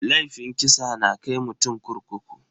Laifin kisa na kai mutum kurkuku.